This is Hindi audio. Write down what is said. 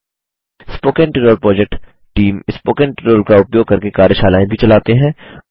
spoken tutorial project team spoken tutorial का उपयोग करके कार्यशालाएँ भी चलाते हैं